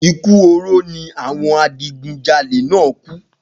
Ikú oró ni awo̩n adigunjalè náà kú